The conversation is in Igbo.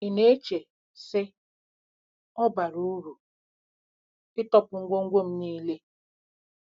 Ị na-eche, sị, ‘Ọ̀ bara uru ịtọpụ ngwongwo m nile? '